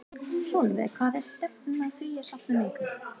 Sólveig: Hvað er stefnt að því að safna miklu?